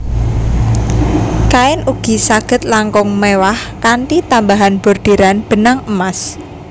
Kain ugi saged langkung mewah kanthi tambahan bordiran benang emas